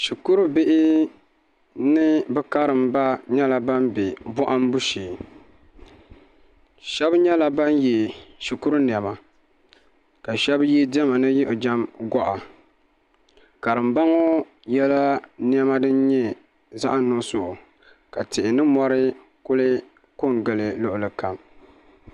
Shikuru bihi ni bi karimba nyɛla ban bɛ bohambu shee shab nyɛla ban yɛ shikuru niɛma ka shab yɛ diɛma ni yiɣijɛm goɣi karimba ŋo yɛla niɛma din nyɛ zaɣ' nuɣso ka tihi ni mori kuli ko n gili luɣulikam